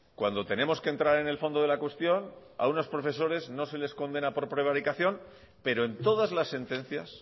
cuando tenemos que entrar en el fondo de la cuestión a unos profesores no les condena por prevaricación pero en todas las sentencias